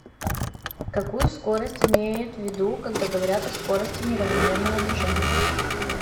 какую скорость имеют ввиду когда говорят о скорости неравномерного движения